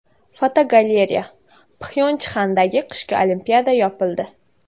Fotogalereya: Pxyonchxandagi qishki Olimpiada yopildi.